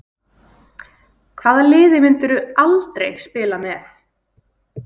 Hvaða liði myndir þú aldrei spila með?